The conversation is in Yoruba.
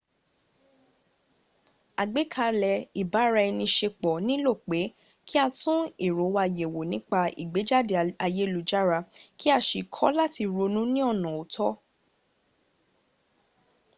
àgbékalẹ̀ ibara-ẹni-ṣepọ̀ nílò pé kí a tún èrò wa yẹ̀wò nípa ìgbéjáde ayélujára kí a sì kọ́ láti ronú ní ọ̀nà ọ̀tọ